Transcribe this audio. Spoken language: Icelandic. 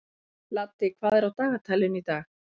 Laddi, hvað er á dagatalinu í dag?